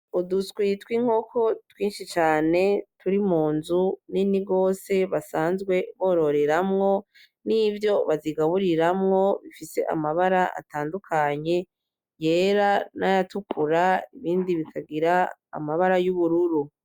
Uduswi twinkoko twinshi cane turi mu nzu nini gose basanzwe bororeramwo, nivyo bazigaburiramwo bifise amabara atandukanye, yera n'ayatukura ibindi bikagira amabara y'ubururu.